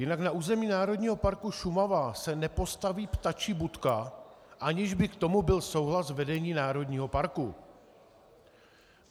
Jinak na území Národního parku Šumava se nepostaví ptačí budka, aniž by k tomu byl souhlas vedení národního parku.